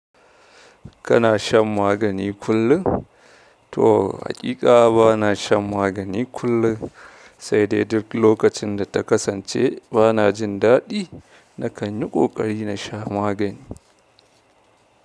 Kana shan magani kullum? To, haƙiƙa bana shan magani kullum, sai dai duk lokacin da ta kasance bana jin daɗi, na kan yi ƙoƙari na sha magani.